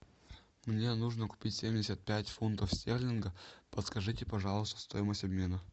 мне нужно купить семьдесят пять фунтов стерлингов подскажите пожалуйста стоимость обмена